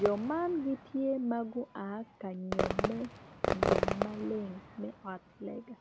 jo man gitye magu aa i kanyome nyom maleng me ot lega.